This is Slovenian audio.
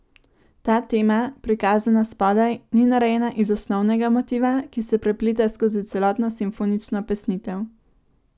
Ta tema, prikazana spodaj, ni narejena iz osnovnega motiva, ki se prepleta skozi celotno simfonično pesnitev.